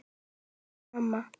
kallaði mamma.